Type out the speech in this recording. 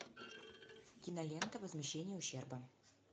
кинолента возмещение ущерба